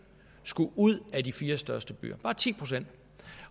skulle ud af de fire største byer bare ti procent